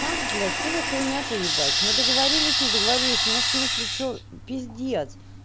макс блять что за хуйня-то ебать мы договорились не договорились мне в смысле что пиздец